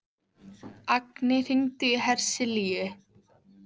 Agni, hringdu í Hersilíu.